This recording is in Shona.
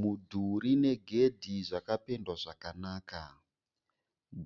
Mudhuri negedhi zvakapendwa zvakanaka.